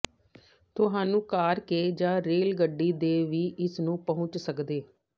ਤੁਹਾਨੂੰ ਕਾਰ ਕੇ ਜ ਰੇਲ ਗੱਡੀ ਦੇ ਕੇ ਵੀ ਇਸ ਨੂੰ ਪਹੁੰਚ ਸਕਦੇ